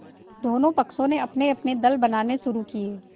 दोनों पक्षों ने अपनेअपने दल बनाने शुरू किये